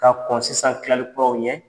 Ka kɔn sisan tilalikuraw ɲɛ